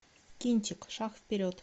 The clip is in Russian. кинчик шаг вперед